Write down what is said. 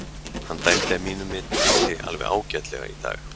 Hann dæmdi að mínu viti alveg ágætlega í dag.